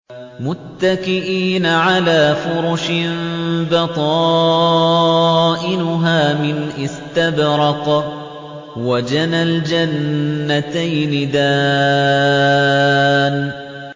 مُتَّكِئِينَ عَلَىٰ فُرُشٍ بَطَائِنُهَا مِنْ إِسْتَبْرَقٍ ۚ وَجَنَى الْجَنَّتَيْنِ دَانٍ